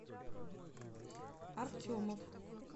артемов